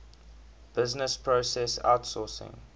business process outsourcing